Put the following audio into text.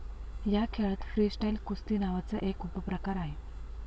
या खेळात फ्रीस्टाईल कुस्ती नावाचा एक उपप्रकार आहे.